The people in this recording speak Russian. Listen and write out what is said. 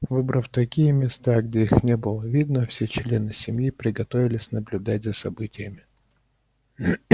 выбрав такие места где их не было видно все члены семьи приготовились наблюдать за событиями